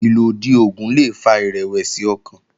Ìlòdì oògùn le fa ìrẹ̀wẹ̀sì ọkàn